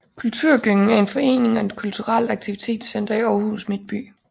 Kulturgyngen er en forening og et kulturelt aktivitetscenter i Aarhus midtby